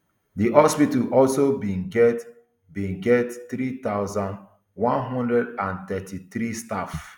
di hospital also bin get bin get three thousand, one hundred and thirty-three staff